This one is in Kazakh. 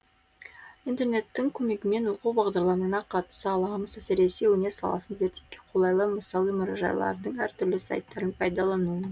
интернеттің көмегімен оқу бағдарламаларына қатыса аламыз әсіресе өнер саласын зерттеуге қолайлы мысалы мұражайлардың әр түрлі сайттарын пайдалану